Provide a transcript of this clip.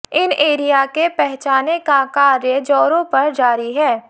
इन area के पहचाने का कार्य जोरों पर जारी है